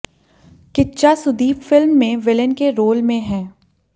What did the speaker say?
Kichcha Sudeep film में villain के role में हैं